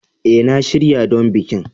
A, na shirya don bikin